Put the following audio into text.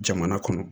Jamana kɔnɔ